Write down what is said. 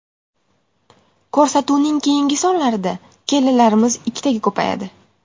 Ko‘rsatuvning keyingi sonlarida kelinlarimiz ikkitaga ko‘payadi.